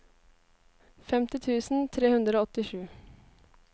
femti tusen tre hundre og åttisju